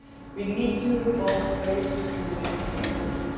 We need to involve those to whom this is important.